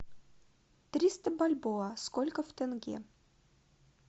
триста бальбоа сколько в тенге